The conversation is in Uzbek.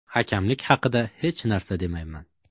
Hakamlik haqida hech narsa demayman.